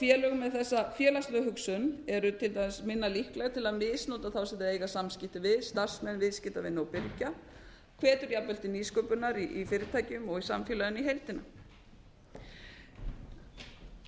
félög með þessa félagslegu hugsun eru til dæmis minna líkleg til að misnota þá sem þau eiga samskipti við starfsmenn viðskiptavini og birgja hvetur jafnvel til nýsköpunar í fyrirtækjum og í samfélaginu í heildina það hefur